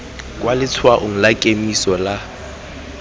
kwa letshwaong la kemiso la